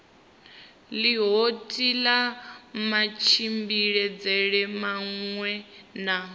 ḽihoro kha matshimbidzelwe maṅwe na